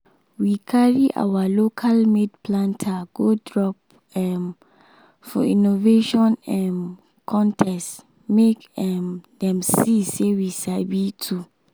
we carry our local-made planter go drop um for innovation um contest make um dem see say we sabi too.